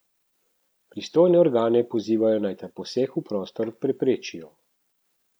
Pristojne organe pozivajo naj ta poseg v prostor preprečijo.